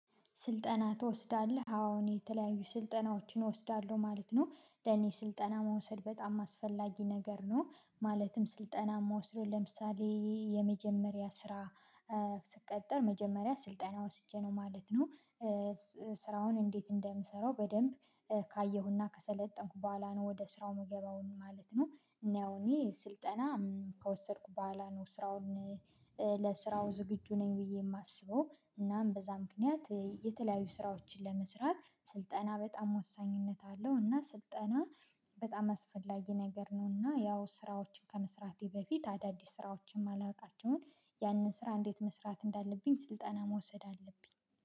ስልጠና ትወስዳለህ? አወ እኔ የተለያዩ ስልጠናዎችን እወስዳለሁ ማለት ነው ለኔ ስልጠና መውሰድ በጣም አስፈላጊ ነገር ነው ማለትም ስልጠና ምወስደው ለምሳሌ የመጀመሪያ ስራ ስቀጠር መጀመሪያ ስልጠና ወስጄ ነው ማለት ነው ስራውን እንዴት እንደምሰራው በደንብ ካየሁና ከሰለጠንኩ በኋላ ነው ወደ ስራው ምገባው ማለት ነው ያው እኔ ስልጠና ከወሰድኩ በኋላ ነው ስራውን ለስራው ዝግጁ ነኝ ብዬ ማስበው። እናም በዛ ምክንያት የተለያዩ ስራዎችን ለመስራት ስልጠና በጣም ወሳኝነት አለው እና ስልጠና በጣም አስፈላጊ ነገር ነው እና ያው ስራዎችን ከመስራቴ በፊት አዳዲስ ስራዎችን ማላውቃቸውን ያንን ስራ እንዴት መስራት እንዳለብኝ ስልጠና መውሰድ አለብኝ።